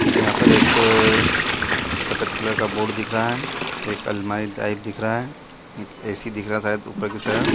यहाँ पर एक सफ़ेद कलर का बोर्ड दिख रहा है एक अलमारी टाइप दिख रहा है ए सी दिख रहा है शायद ऊपर की तरफ--